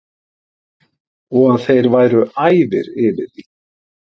Og að þeir væru æfir yfir því.